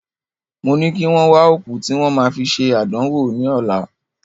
Mo ní kí wọ́n wà òkú tí wọ́n ma fi ṣe àdánwò ní ọlá